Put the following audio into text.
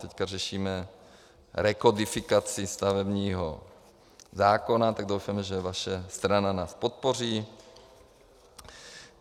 Teďka řešíme rekodifikaci stavebního zákona, tak doufejme, že vaše strana nás podpoří.